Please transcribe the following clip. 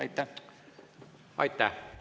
Aitäh!